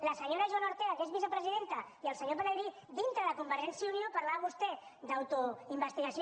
la senyora joana ortega que és vicepresidenta i el senyor pelegrí dintre de convergència i unió parlava vostè d’autoinvestigació